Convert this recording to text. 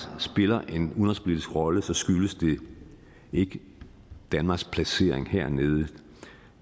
spiller en udenrigspolitisk rolle skyldes det ikke danmarks placering hernede